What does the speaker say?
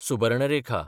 Subarnarekha